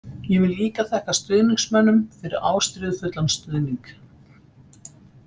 Ég vil líka þakka stuðningsmönnum fyrir ástríðufullan stuðning.